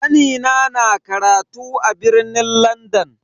Kanina na karatu a birnin Landan.